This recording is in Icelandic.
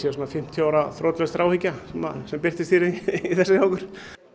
svona fimmtíu ára þrotlaus þráhyggja sem birtist í þessu hjá okkur